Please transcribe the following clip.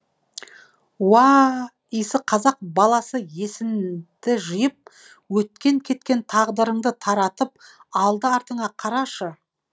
уа а а иісі қазақ баласы есіңді жиып өткен кеткен тағдырыңды таратып алды артыңа қарашы